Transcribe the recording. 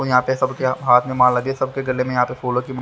और यहां पे सब के हाथ में माला के सब के गले में यहां पे फूलों की--